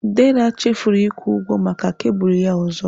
Dera chefuru ịkwụ ụgwọ maka kebụlụ ya ọzọ.